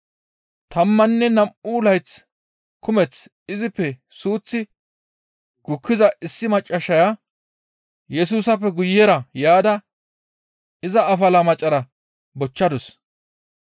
Tammanne nam7u layth kumeth izippe suuththi gukkiza issi maccassaya Yesusappe guyera yaada iza afala macara bochchadus.